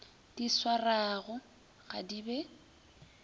di swarwago ga di be